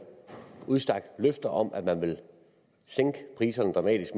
udstak løfter om at sænke priserne dramatisk